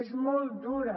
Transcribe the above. és molt dura